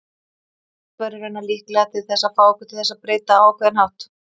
Hvorugt væri raunar líklega til þess að fá okkur til þess breyta á ákveðinn hátt.